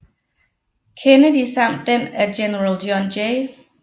Kennedy samt den af General John J